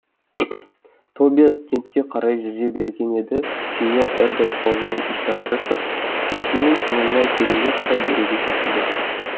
тобиас кентке қарай жүзе берген еді сеньор эрберт қолымен ишара жасап өзінің соңынан тереңге қарай еруге шақырды